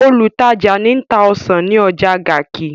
Olùtajà ń ta ọsàn ní ọjà Garki.